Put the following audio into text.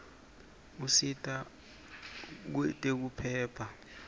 usita kwetekuphepha